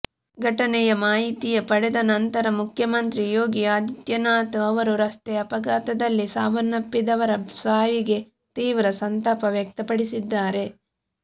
ಘಟನೆಯ ಮಾಹಿತಿಯ ಪಡೆದ ನಂತರ ಮುಖ್ಯಮಂತ್ರಿ ಯೋಗಿ ಆದಿತ್ಯನಾಥ್ ಅವರು ರಸ್ತೆ ಅಪಘಾತದಲ್ಲಿ ಸಾವನ್ನಪ್ಪಿದವರ ಸಾವಿಗೆ ತೀವ್ರ ಸಂತಾಪ ವ್ಯಕ್ತಪಡಿಸಿದ್ದಾರೆ